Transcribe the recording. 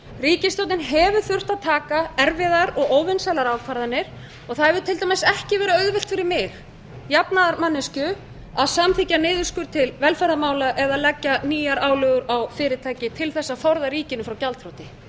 ríkisstjórnin hefur þurft að taka erfiðar og óvinsælar ákvarðanir og það hefur til dæmis ekki verið auðvelt fyrir mig jafnaðarmanneskju að samþykkja niðurskurð til velferðarmála eða leggja nýjar álögur á fyrirtæki til að forða ríkinu frá gjaldþroti